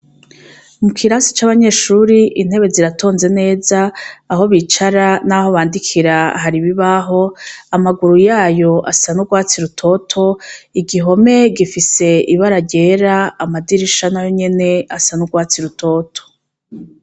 Mu kirasi c'abanyeshuri intebe ziratonze neza aho bicara, naho bandikira hari ibibaho amaguru yayo asana urwatsi rutoto igihome gifise ibara ryera amadirisha na yo nyene asan'urwatsi rutoto.